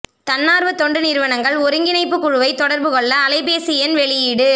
தன்னார்வ தொண்டு நிறுவனங்கள் ஒருங்கிணைப்புக்குழுவை தொடர்பு கொள்ள அலைபேசி எண் வெளியீடு